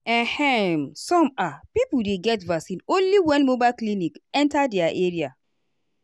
ehmsome ah people dey get vaccine only when mobile clinic enta their area.